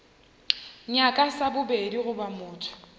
nyaka sa bobedi goba motho